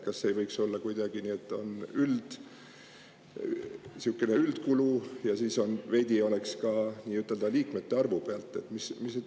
Kas ei võiks olla kuidagi nii, et on sihuke üldkulu ja siis veidi oleneks ka liikmete arvust?